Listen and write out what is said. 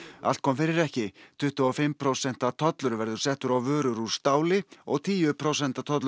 allt kom fyrir ekki tuttugu og fimm prósenta tollur verður settur á vörur úr stáli og tíu prósenta tollur